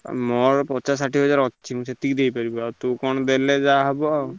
ଆଉ ମୋର ପଚାଶ ଷାଠିଏ ହଜାର ଅଛି ସେତିକି ଦେଇପାରିବି ଆଉ ତୁ କଣ ଦେଲେ ଯାହା ହବ ଆଉ।